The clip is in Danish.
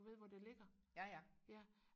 du ved hvor det ligger ja